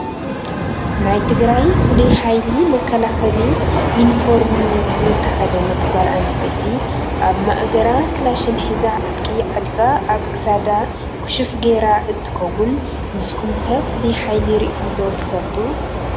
ናይ ትግራይ ፍሉይ ሓይሊ መከላከሊ ዩኒፎርሚ ዝተከደነት ጓል ኣንስተይቲ ኣብ ማእገራ ካላሽን ሒዛ ዕጥቂ ዓጢቃ ኣብ ክሳዳ ኩሹፍ ገይራ እንትከውን፤ ንሱኩም'ከ ፍሉይ ሓይሊ ሪኢኩም ዶ ትፈልጡ?